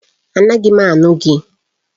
Anaghị m anụ gị